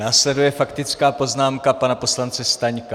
Následuje faktická poznámka pana poslance Staňka.